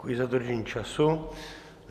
Děkuji za dodržení času.